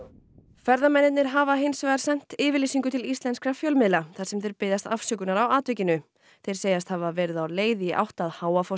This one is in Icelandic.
ferðamennirnir hafa hins vegar sent yfirlýsingu til íslenskra fjölmiðla þar sem þeir biðjast afsökunar á atvikinu þeir segjast hafa verið á leið í átt að